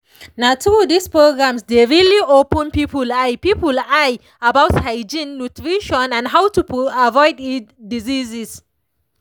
na true these programs dey really open people eye people eye about hygiene nutrition and how to avoid disease